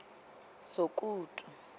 sokutu